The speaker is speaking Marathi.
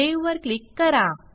सावे वर क्लिक करा